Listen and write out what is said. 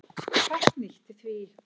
Fátt nýtt í því.